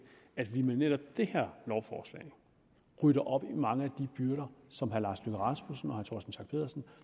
at vi med netop det her lovforslag rydder op i mange af de byrder som herre lars løkke rasmussen